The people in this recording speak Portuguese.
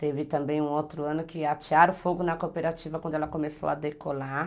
Teve também um outro ano que atearam fogo na cooperativa quando ela começou a decolar.